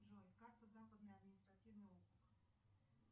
джой карта западный административный округ